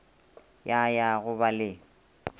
ya ya go ba le